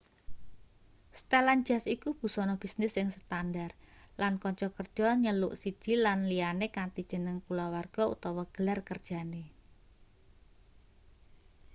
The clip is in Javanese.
setelan jas iku busana bisnis sing standar lan kanca kerja njeluk siji lan liyane kanthi jeneng kulawarga utawa gelar kerjane